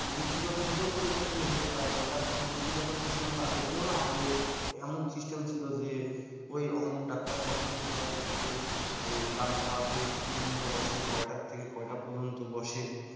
প্রযুক্তিগত দিকে ও পরিবর্তন এসেছে কারণ এটা প্রযুক্তিগত system টা আগে ছিল না আগে এমন system ছিল যে ঐ অমুক ডাক্তার কখন কোথায় বসবে জানতে হবে। কোন দিনে বসে কয়টা থেকে কয়টা পর্যন্ত বসে